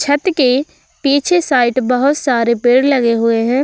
छत के पीछे साइड बहोत सारे पेड़ लगे हुए हैं।